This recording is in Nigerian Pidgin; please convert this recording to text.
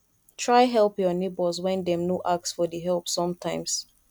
try help your neighbors when dem no ask for di help sometimes